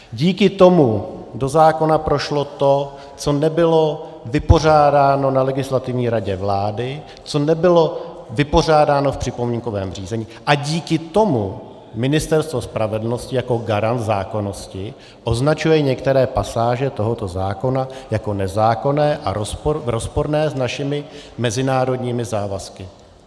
Díky tomu do zákona prošlo to, co nebylo vypořádáno na Legislativní radě vlády, co nebylo vypořádáno v připomínkovém řízení, a díky tomu Ministerstvo spravedlnosti jako garant zákonnosti označuje některé pasáže tohoto zákona jako nezákonné a rozporné s našimi mezinárodními závazky.